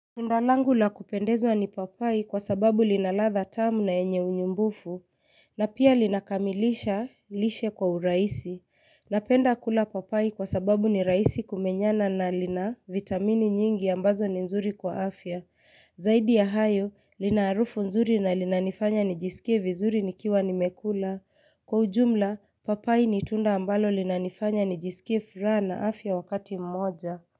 Ndalangu la kupendezwa ni papai kwa sababu linaladha tamu na enye unyumbufu, na pia linakamilisha lishe kwa uraisi. Napenda kula papai kwa sababu ni raisi kumenyana na lina vitamini nyingi ambazo ni nzuri kwa afya. Zaidi ya hayo, lina arufu nzuri na linanifanya nijisikie vizuri nikiwa nimekula. Kwa ujumla, papai nitunda ambalo linanifanya nijisikie furaa na afya wakati mmoja.